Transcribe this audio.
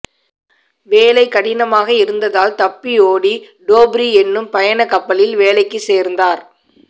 வேலை கடினமாக இருந்ததால் தப்பியோடி டோப்ரி என்னும் பயணக் கப்பலில் வேலைக்குச் சேர்ந்தார்